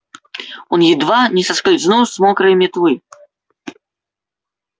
он едва не соскользнул с мокрой метлы